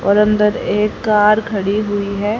और अंदर एक कार खड़ी हुई है।